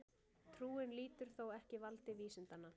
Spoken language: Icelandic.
Trúin lýtur þó ekki valdi vísindanna.